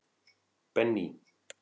Benný